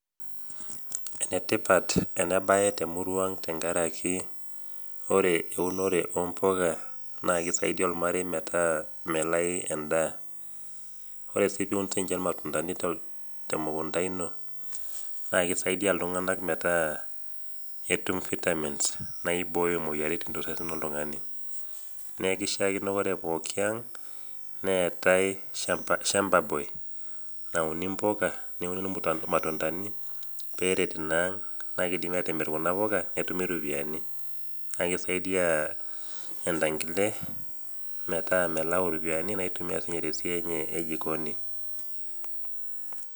Enetipat enabaetemurua aang amu ore eunore ompuka na kisaidia ormarei metaa melai endaa ore si duo sinche irmatundani temukunda ino na kisaidia ltunganak metaa ketum vitamins naibooyo moyiaritin tosesen loltungani nekishakini ore pokki aang neetae shamba boy [cs[na ore piatuni mpuka nikingukini matundani peret na kidimi atimir kuna puka netumi ropiyani kisaidia entangile metaa melau ropiyani naitumie tesiai ejikoni .